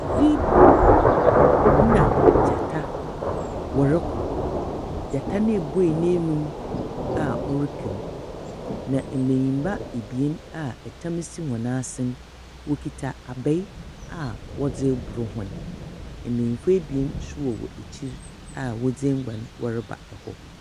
Zebra na gyata wɔroko, gyata no ebue n’anum a ɔreka mu, na mbanyimba ebien a tam si wɔn asen, wokitsa mbaa a wɔdze robor hɔn. Mbanyin ebien bi so wɔ ekyir a wɔdze enguan reba hɔ.